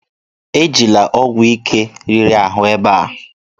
Ejila ọgwụ ike riri ahụ ebe a!